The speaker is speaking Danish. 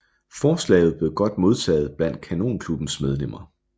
Forslaget bliver godt modtaget blandt Kanonklubbens medlemmer